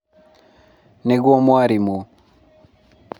nĩguo mwarimũ